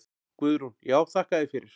Guðrún: Já þakka þér fyrir.